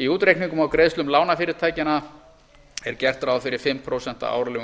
í útreikningum á greiðslum lánafyrirtækjanna er gert ráð fyrir fimm prósent árlegum